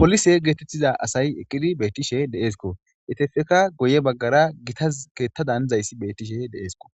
polise geetettiza asayi eqqidi beettishe deeesko etefeka goye baggara gitaz keetta danizayssi beettishe deeesko